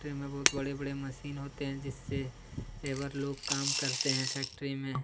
factory में बहुत बड़े-बड़े मशीन होते हैं जिससे लेबर लोग काम करते हैं फैक्ट्री में--